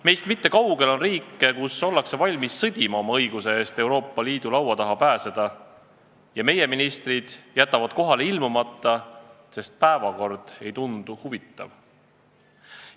Meist mitte kaugel on riike, kus ollakse valmis sõdima õiguse eest Euroopa Liidu laua taha pääseda, aga meie ministrid jätavad kohale ilmumata, sest päevakord ei tundu huvitav.